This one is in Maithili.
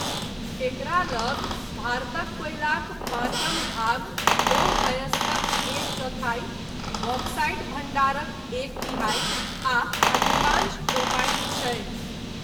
एकरा लग भारतक कोयलाक पाँचम भाग, लौह अयस्कक एक चौथाई, बॉक्साइट भण्डारक एक तिहाई, आ अधिकांश क्रोमाइट छै।